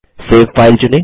save file चुनें